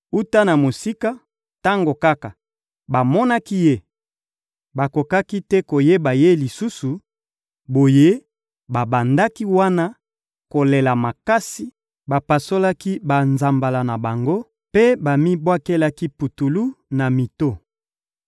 Wuta na mosika, tango kaka bamonaki ye, bakokaki te koyeba ye lisusu; boye, babandaki wana kolela makasi, bapasolaki banzambala na bango mpe bamibwakelaki putulu na mito.